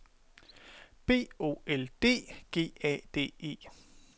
B O L D G A D E